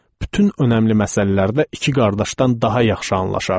Bütün önəmli məsələlərdə iki qardaşdan daha yaxşı anlaşardıq.